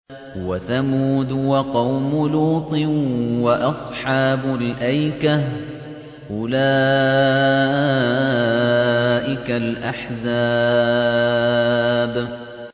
وَثَمُودُ وَقَوْمُ لُوطٍ وَأَصْحَابُ الْأَيْكَةِ ۚ أُولَٰئِكَ الْأَحْزَابُ